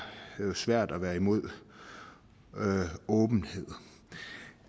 jo svært at være imod åbenhed